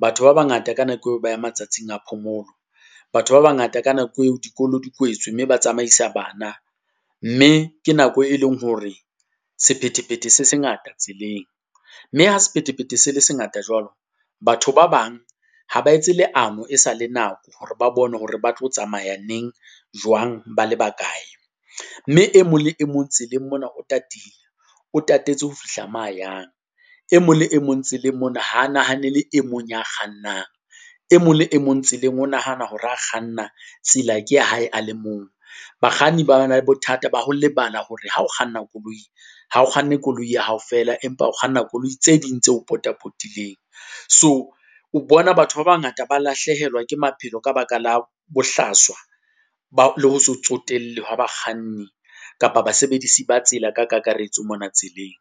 batho ba bangata ka nako eo ba ya matsatsing a phomolo. Batho ba bangata ka nako eo dikolo di kwetswe mme ba tsamaisa bana, mme ke nako e leng hore sephethephethe se se ngata tseleng. Mme ha sephethephethe se le se ngata jwalo, batho ba bang, ha ba etse leano e sa le nako hore ba bone hore ba tlo tsamaya neng, jwang ba le ba kae. Mme e mong le e mong tseleng mona o tatile, o tatetse ho fihla mo a yang. E mong le e mong tseleng mona ha a nahanele e mong ya kgannang. E mong le e mong tseleng, o nahana hore ha a kganna, tsela ke ya hae a le mong. Bakganni ba na le bothata ba ho lebala hore ha o kganna koloi, ha o kganne koloi ya hao feela, empa o kganna koloi tse ding tse o potapotileng. So o bona batho ba bangata ba lahlehelwa ke maphelo ka baka la bohlaswa , le ho se tsotelle hwa bakganni, kapa basebedisi ba tsela ka kakaretso mona tseleng.